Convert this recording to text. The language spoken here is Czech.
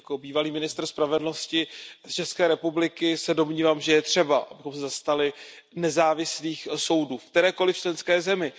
Jako bývalý ministr spravedlnosti České republiky se domnívám, že je třeba, abychom se zastali nezávislých soudů v kterékoliv členské zemi.